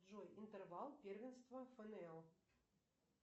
джой интервал первенства фнл